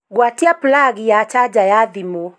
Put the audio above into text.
gwatia plagi ya chaja ya thimu